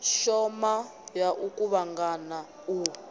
shoma ya u kuvhangana u